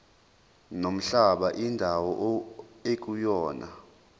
nomhlaba indawo ekuyona